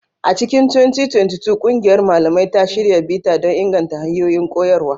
A cikin 2022, ƙungiyar malamai ta shirya bita don inganta hanyoyin koyarwa.